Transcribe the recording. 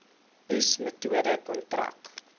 oes metode kontrak